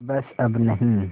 बस अब नहीं